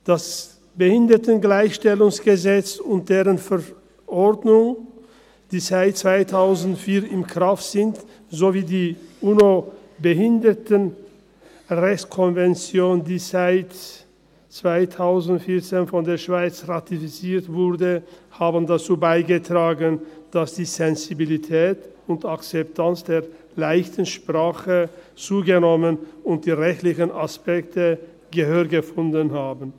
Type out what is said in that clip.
Das Bundesgesetz über die Beseitigung von Benachteiligungen von Menschen mit Behinderungen (Behindertengleichstellungsgesetz, BehiG) und dessen Verordnung, die seit 2004 in Kraft sind, sowie die UN-Behindertenrechtskonvention, die von der Schweiz 2014 ratifiziert wurde, haben dazu beigetragen, dass die Sensibilität und Akzeptanz der «leichten Sprache» zugenommen und die rechtlichen Aspekte Gehör gefunden haben.